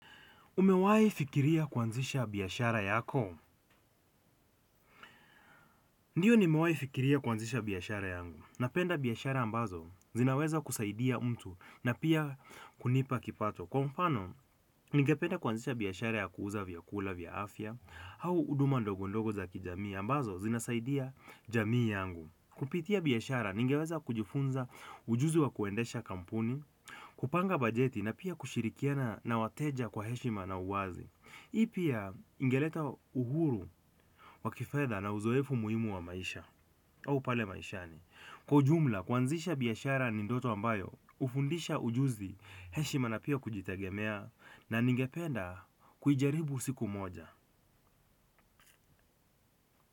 Umewahi fikiria kuanzisha biashara yako? Ndiyo nimewahifikiria kuanzisha biashara yangu. Napenda biashara ambazo zinaweza kusaidia mtu na pia kunipa kipato kwa mfano ningependa kuanzisha biashara ya kuuza vyakula vya afya au huduma ndogodogo za kijamii ambazo zinasaidia jamii yangu kupitia biashara, ningeweza kujifunza ujuzi wa kuendesha kampuni, kupanga banjeti na pia kushirikiana na wateja kwa heshima na uwazi. Hii pia ingeleta uhuru wakifedha na uzoefu muhimu wa maisha au pale maishani. Kwa ujumla, kuanzisha biashara ni ndoto ambayo, hufundisha ujuzi, heshima na pia kujitagemea na ningependa kuijaribu siku moja.